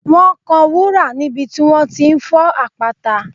Wọ́n kan wúrà níbi tí wọ́n ti ń fọ́ àpáta